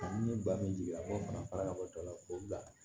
ni ba min jiginna n'o fana fara ka bɔ a la k'o bila